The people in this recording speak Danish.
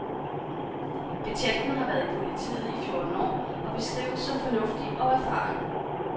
Betjenten har været i politiet i fjorten år og beskrives som fornuftig og erfaren.